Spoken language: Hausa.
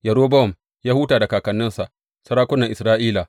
Yerobowam ya huta da kakanninsa, sarakunan Isra’ila.